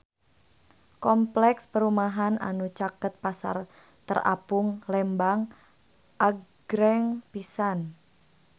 Kompleks perumahan anu caket Pasar Terapung Lembang agreng pisan